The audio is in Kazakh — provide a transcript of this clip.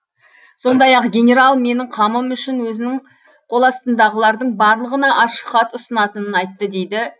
сондай ақ генерал менің қамым үшін өзінің қоластындағылардың барлығына ашық хат ұсынатынын айтты дейді